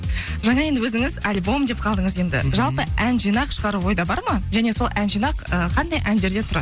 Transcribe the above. жаңа енді өзіңіз альбом деп қалдыңыз енді жалпы ән жинақ шығару ойда бар ма және сол ән жинақ ы қандай әндерден тұрады